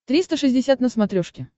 триста шестьдесят на смотрешке